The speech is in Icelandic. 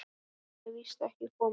Nær verður víst ekki komist.